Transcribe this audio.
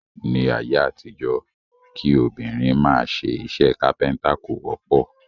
Ní ayé àtijọ́, kí obìnrin máa ṣe iṣẹ́ kápẹ́ntà kò wọ́pọ̀